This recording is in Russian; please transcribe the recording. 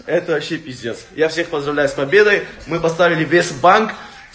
это вообще пиздец я всех поздравляю с победой мы поставили весь банк